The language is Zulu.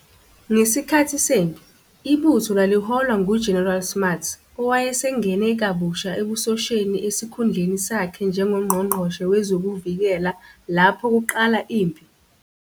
Ngesikhathi sempi, ibutho laliholwa nguGeneral Smuts, owayesengene kabusha ebusosheni esikhundleni sakhe njengoNgqongqoshe Wezokuvikela lapho kuqala impi.